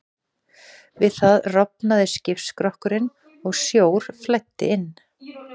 Við það rofnaði skipsskrokkurinn og sjór flæddi inn.